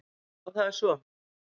Já það er svo.